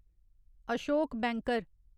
Ashok banker